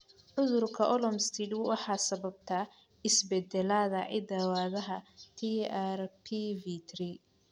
Cudurka Olmstead waxaa sababa isbeddellada hidda-wadaha TRPV3.